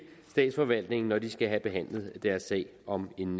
statsforvaltningen når de skal have behandlet deres sag om en